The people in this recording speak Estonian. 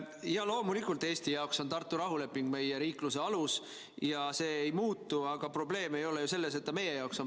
Loomulikult, Eesti jaoks on Tartu rahuleping meie riikluse alus ja see ei muutu, aga probleem ei ole ju selles, et ta meie jaoks seda on.